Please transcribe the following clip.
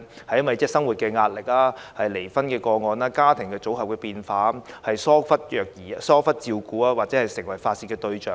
是因為生活壓力、離婚個案、家庭組合變化，促成兒童受疏忽照顧或成為被發泄的對象？